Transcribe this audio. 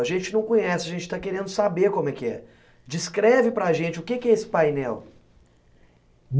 A gente não conhece, a gente está querendo saber como é que é. Descreve para gente o que que é esse painel.